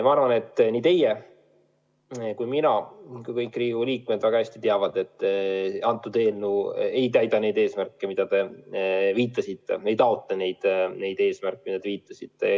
Ma arvan, et nii teie, mina kui ka kõik Riigikogu liikmed väga hästi teame, et see eelnõu ei sea neid eesmärke, millele te viitasite, ei taotle neid eesmärke, millele te viitasite.